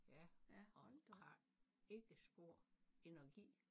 Ja og hun har ikke spor energi